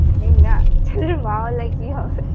মেয়ে না ছেলের মা হলে কি হবে